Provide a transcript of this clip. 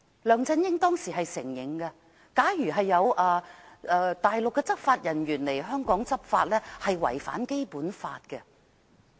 梁振英當時也承認，假如有大陸執法人員來港執法，那是違反《基本法》的。